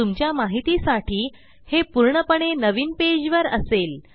तुमच्या माहितीसाठी हे पूर्णपणे नवीन पेजवर असेल